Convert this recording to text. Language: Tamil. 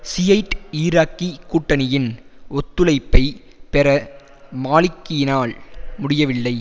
ஷியைட் ஈராக்கி கூட்டணியின் ஒத்துழைப்பை பெற மாலிக்கியினால் முடியவில்லை